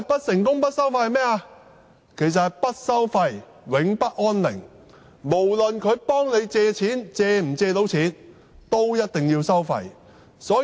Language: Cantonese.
就是不收費，永不安寧，不論能否成功協助市民借貸，他們也一定要收費。